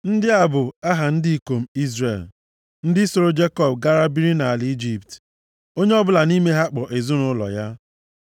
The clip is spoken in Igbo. Ndị a bụ aha ụmụ ndị ikom Izrel, ndị sooro Jekọb gaa biri nʼala Ijipt, onye ọbụla nʼime ha kpọ ezinaụlọ ya.